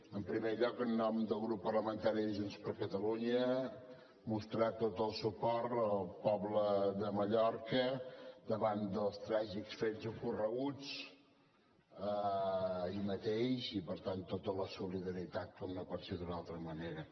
en primer lloc en nom del grup parlamentari junts per catalunya mostrar tot el suport al poble de mallorca davant dels tràgics fets ocorreguts ahir mateix i per tant tota la solidaritat com no pot ser d’altra manera